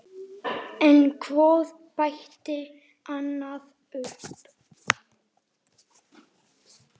En hvort bætti annað upp.